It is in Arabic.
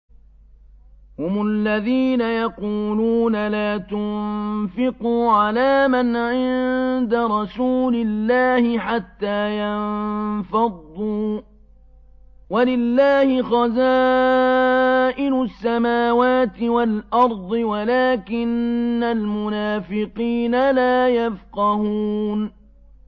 هُمُ الَّذِينَ يَقُولُونَ لَا تُنفِقُوا عَلَىٰ مَنْ عِندَ رَسُولِ اللَّهِ حَتَّىٰ يَنفَضُّوا ۗ وَلِلَّهِ خَزَائِنُ السَّمَاوَاتِ وَالْأَرْضِ وَلَٰكِنَّ الْمُنَافِقِينَ لَا يَفْقَهُونَ